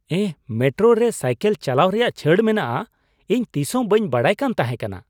ᱮᱦ! Metro ᱨᱮ cycle ᱪᱟᱞᱟᱣ ᱨᱮᱭᱟᱜ ᱪᱷᱟᱹᱲ ᱢᱮᱱᱟᱜᱼᱟ ᱾ ᱤᱧ ᱛᱤᱥ ᱦᱚᱸ ᱵᱟᱹᱧ ᱵᱟᱰᱟᱭ ᱠᱟᱱ ᱛᱟᱦᱮᱸ ᱠᱟᱱᱟ ᱾